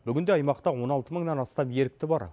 бүгінде аймақта он алты мыңнан астам ерікті бар